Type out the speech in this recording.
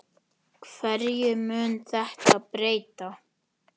Hverju mun þetta breyta?